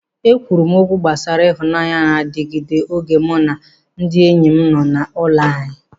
E kwuru m okwu gbasara ịhụnanya na-adịgide oge mụ na ndị enyi m nọ n'ụlọ anyị.